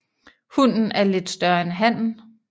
Hunnen er lidt større end hannen